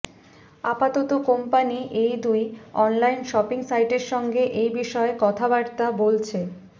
আপাতত কোম্পানি এই দুটি অনলাইন শপিং সাইটের সঙ্গে এই বিষয়ে কথাবার্তা বলছে